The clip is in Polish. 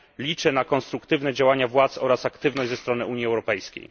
Liczę na konstruktywne działania władz oraz aktywność Unii Europejskiej.